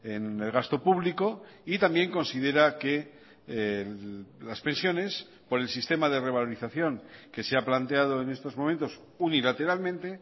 en el gasto público y también considera que las pensiones por el sistema de revalorización que se ha planteado en estos momentos unilateralmente